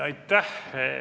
Aitäh!